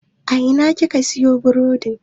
A Ina kuka siyo burodin?